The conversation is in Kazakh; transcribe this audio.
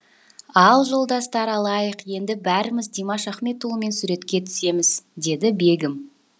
ал жолдастар алайық енді бәріміз димаш ахметұлымен суретке түсеміз деді бегім